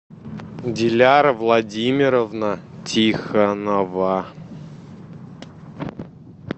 диляра владимировна тихонова